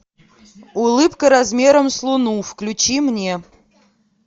улыбка размером с луну включи мне